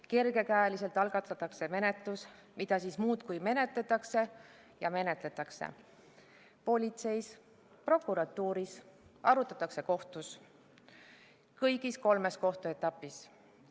Menetlus algatatakse kergekäeliselt ja siis muudkui menetletakse ja menetletakse – politseis, prokuratuuris, kõigis kolmes kohtuetapis.